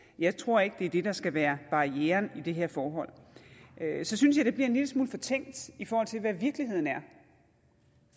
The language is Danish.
jeg tror ikke det er det der skal være barrieren i det her forhold så synes jeg det bliver en lille smule fortænkt i forhold til hvad virkeligheden er